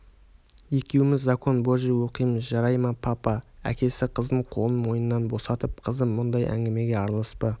екеуміз закон божий оқимыз жарай ма папа әкесі қызынын қолын мойнынан босатып қызым мұндай әңгімеге араласпа